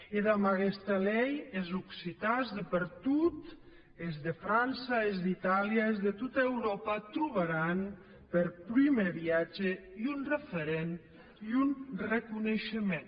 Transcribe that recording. e damb aguesta lei es occitans de per tot es de frança e es d’itàlia es de tota euròpa trobaràn per prumèr viatge un referent un reconeishement